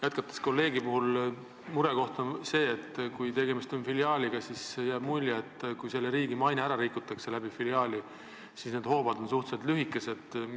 Jätkates kolleegi teemat, tahan öelda, et murekoht on see, et kui tegemist on filiaaliga, siis jääb mulje, et kui riigi maine saab filiaali tõttu rikutud, siis karistushoovad on suhteliselt lühikesed.